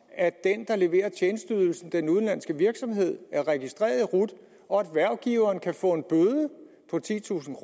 at den der leverer tjenesteydelsen den udenlandske virksomhed er registreret i rut og at hvervgiveren kan få en bøde på titusind